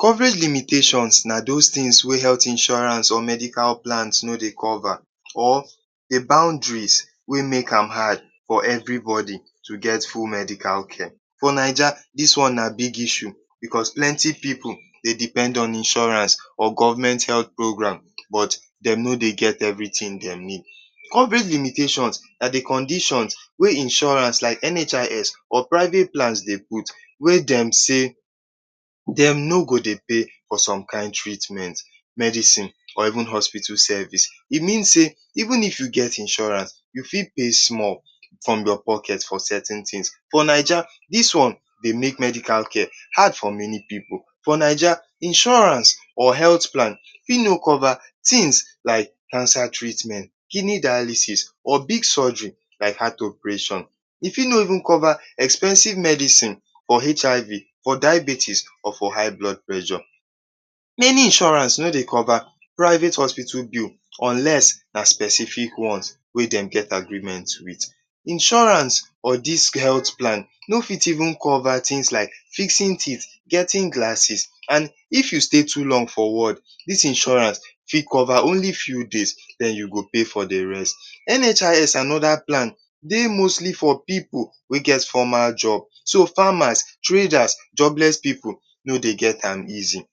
Coverage limitations na those things wey health insurance or medical plans no dey cover. Or the boundaries wey make am hard for everybody to get full medical care. For Naija, dis one na big issue because plenty pipu dey depend on insurance or government health programs, but dem no dey get everything dem need. Coverage limitations na the conditions wey insurance like NHIS or private plans dey put wey dem say, dem no go dey pay for some kin treatment, medicine or even hospital service. E mean say, even if you get insurance, you fit pay small from your pocket for certain things. For Naija, dis one dey make medical care hard for many pipu. For Naija, insurance or health plan fit no cover things like cancer treatment, kidney dialysis or big surgery like heart operation. E fit no even cover expensive medicine for HIV or diabetes or for high blood pressure. Many insurance no dey cover private hospital bills, unless na specific ones wey dem get agreement with. Insurance or dis health plan no fit even cover things like fixing teeth, getting glasses and if you stay too long for ward, dis insurance fit cover only few days. Then you go pay for the rest. NHIS and other plan dey mostly for pipu wey get formal job. So, farmers, traders, jobless pipu no dey get am easy.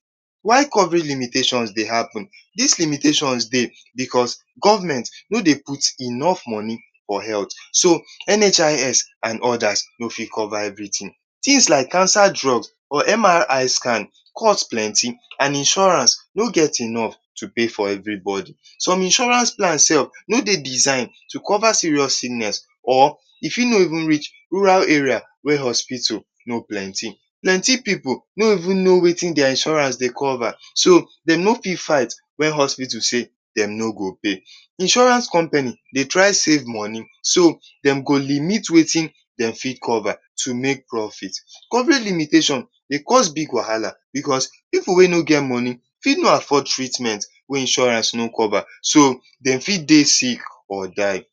Why coverage limitations dey happen? Dis limitations dey because government no dey put enough money for health. So, NHIS and others no fit cover everything. Things like cancer drug or MRI scan cost plenty. And insurance no get enough to pay for everybody. Some insurance plans no dey design to cover serious sickness. Or e fit no even reach rural area wey hospitals no plenty. Plenty pipu no even know wetin their insurance dey cover. So, dem no fit fight when hospital say, dem no go pay. Insurance company dey try save money. So, dem go limit wetin dem fit cover to make profit. Coverage limitations cause big wahala because pipu wey no get money fit no afford treatment wey insurance no fit cover. So, dem fit dey sick or die.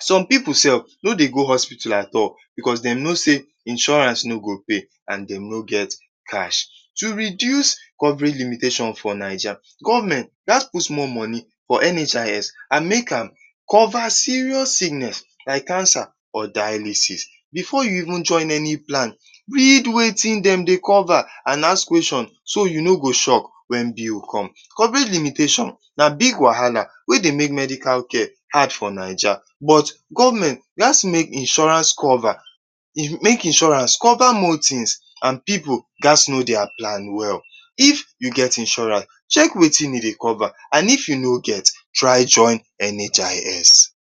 Some pipu sef no dey go hospital at all because dem know say insurance no go cover and dem no get cash. To reduce coverage limitations for Naija, Government gats put small money for NHIS and make am cover serious sickness like cancer or dialysis. Before you even join any plan, read wetin dem dey cover and ask question so you no go shock when bill come. Coverage limitations na big wahala wey dey make medical care hard for Naija, but government gats make insurance cover more things and pipu gats know their plan well. If you get insurance, check wetin e dey cover. And if you no get, try join NHIS.